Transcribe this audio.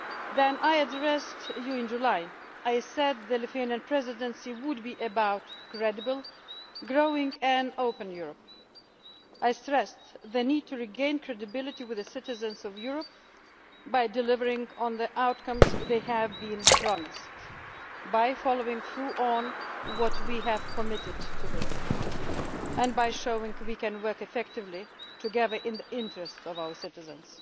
When I addressed you in July I said that the Lithuanian Presidency would be about a credible, growing and open Europe. I stressed the need to regain credibility with the citizens of Europe by delivering on the outcomes they have been promised, by following through on what we have committed to do, and by showing we can work effectively together in the interest of our citizens.